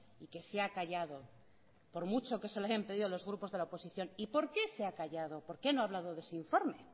y que se ha callado por mucho que se lo hayan pedido los grupos de la oposición y por qué se ha callado por qué no ha hablado de ese informe